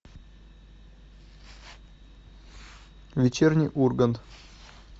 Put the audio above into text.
вечерний ургант